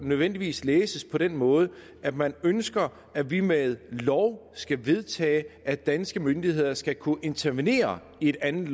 nødvendigvis læses på den måde at man ønsker at vi med lov skal vedtage at danske myndigheder skal kunne intervenere i et andet